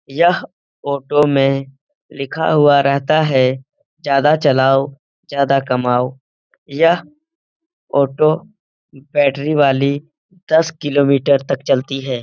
यह ऑटो में लिखा हुआ रहता है ज्यादा चलाओ ज्यादा कमाओ यह ऑटो बैटरी वाली दस किलोमीटर तक चलती है।